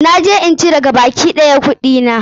Na je in cire gabaki ɗaya kuɗina.